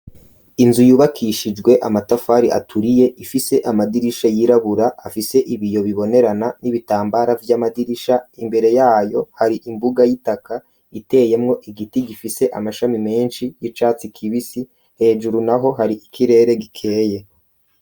Inzu yubakishijwe amatafari aturiye ifise amadirisha yirabura afise ibi yo bibonerana n'ibitambara vy'amadirisha, imbere yayo hari imbuga y'itaka iteyemwo igiti gifise amashami menshi y'icatsi kibisi, hejuru na ho hari ikirere gikeye.